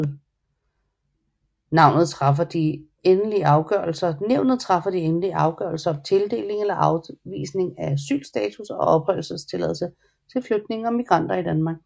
Nævnet træffer de endelige afgørelser om tildeling eller afvisning af asylstatus og opholdstilladelse til flygtninge og migranter i Danmark